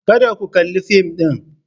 Kada ku kalli fim din.